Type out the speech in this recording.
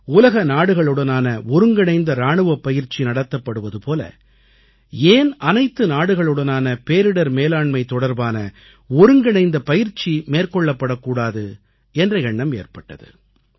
உலக நாடுகளுடனான ஒருங்கிணைந்த இராணுவப் பயிற்சி நடத்தப்படுவது போல ஏன் அனைத்து நாடுகளுடனான பேரிடர் மேலாண்மை தொடர்பான ஒருங்கிணைந்த பயிற்சி மேற்கொள்ளப்படக் கூடாது என்ற எண்ணம் ஏற்பட்டது